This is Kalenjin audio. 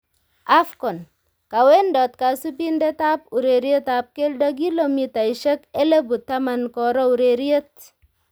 AFCON:Kawendot kasubindetab urerietab keldo kilomitaisiek elebu taman koro ureriet